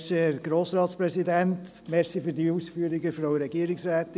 Danke für diese Ausführungen, Frau Regierungsrätin.